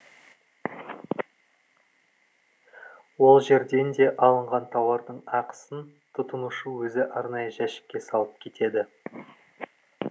ол жерден де алынған тауардың ақысын тұтынушы өзі арнайы жәшікке салып кетеді